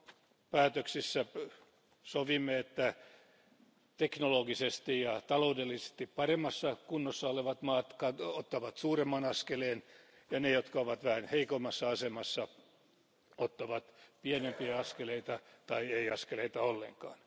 Taakanjakopäätöksissä sovimme, että teknologisesti ja taloudellisesti paremmassa kunnossa olevat maat ottavat suuremman askeleen ja vähän heikommassa asemassa olevat ottavat pienempiä askeleita tai ei askeleita ollenkaan.